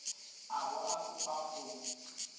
a bo a kopa go